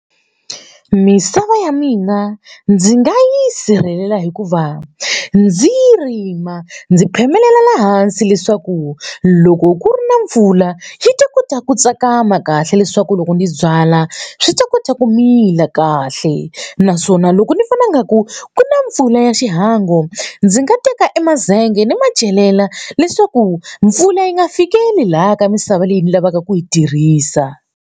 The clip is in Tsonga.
Misava ya mina ndzi nga yi sirhelela hikuva ndzi yi rima ndzi phemelela la hansi leswaku loko ku ri na mpfula yi ta kota ku tsakama kahle leswaku loko ndzi byala swi ta kota ku mila kahle naswona loko ni vona nga ku ku na mpfula ya xihangu ndzi nga teka emazenge ni ma celela leswaku mpfula yi nga fikeli laha ka misava leyi ni lavaka ku yi tirhisa.